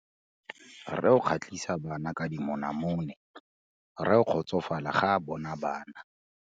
Rre o kgatlhisa bana ka dimonamone. Rre o kgotsofala ga a bona bana.